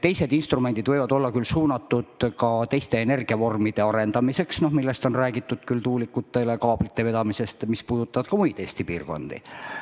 Teised instrumendid võivad olla küll suunatud ka teiste energiavormide arendamiseks, millest on räägitud, küll tuulikutele kaablite vedamine jms, mis puudutavad ka muid Eesti piirkondi.